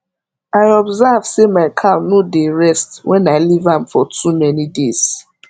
i observe say ma cow no dey rest wen i leave am for too many days